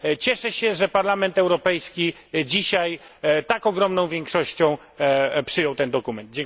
Cieszę się, że Parlament Europejski dzisiaj tak ogromną większością przyjął ten dokument.